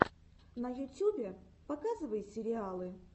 на ютюбе показывай сериалы